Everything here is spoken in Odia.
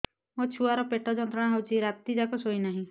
ମୋ ଛୁଆର ପେଟ ଯନ୍ତ୍ରଣା ହେଉଛି ରାତି ଯାକ ଶୋଇନାହିଁ